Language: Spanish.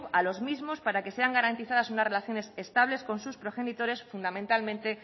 a los mismos para que sean garantizadas unas relaciones estables con sus progenitores fundamentalmente